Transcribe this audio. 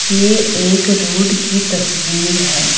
ये एक रोड की तस्वीर है।